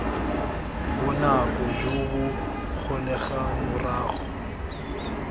bonako jo bo kgonegang morago